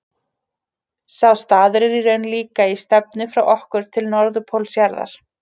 Sá staður er raunar líka í stefnu frá okkur til norðurpóls jarðar.